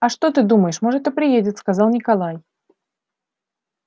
а что ты думаешь может и приедет сказал николай